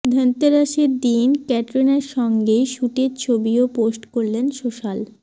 ধনতেরাসের দিন ক্যাটরিনার সঙ্গে শুটের ছবিও পোস্ট করলেন সোশাল